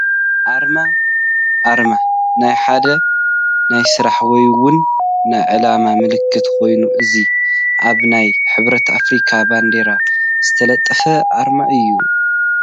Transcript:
ኣርማ፡- ኣርማ ናይ ሓደ ናይ ስራሕ ወይ ውን ናይ ዕላማ ምልክት ኮይኑ እዚ ኣብ ናይ ሕብረት ኣፍሪካ ባንዴራ ዝተለጠፈ ኣርማ እዩ፡፡